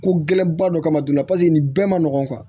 Ko gɛlɛn ba dɔ kama joona paseke nin bɛɛ ma nɔgɔn